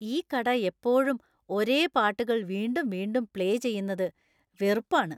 ഈ കട എപ്പോഴും ഒരേ പാട്ടുകൾ വീണ്ടും വീണ്ടും പ്ലേ ചെയ്യുന്നത് വെറുപ്പാണ്.